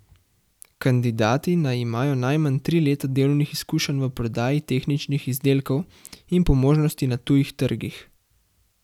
Kandidati naj imajo najmanj tri leta delovnih izkušenj v prodaji tehničnih izdelkov in po možnosti na tujih trgih.